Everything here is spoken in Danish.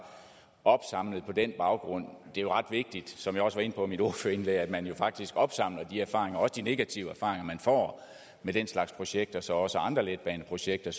opsamlet på den baggrund det er jo ret vigtigt som jeg også var inde på i mit ordførerindlæg at man faktisk opsamler de erfaringer også de negative erfaringer man får med den slags projekter så også andre letbaneprojekter